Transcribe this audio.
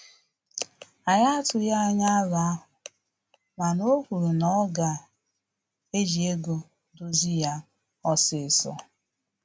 Anyị atughi anya arọ ahụ, mana o kwuru na oga eji ego dozie ya osisọ